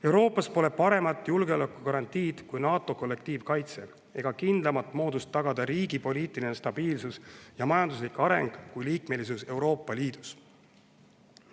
Euroopas pole paremat julgeolekugarantiid kui NATO kollektiivkaitse ega kindlamat moodust tagada riigi poliitiline stabiilsus ja majanduslik areng kui Euroopa Liidu liikmelisus.